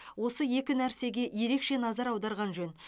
осы екі нәрсеге ереше назар аударған жөн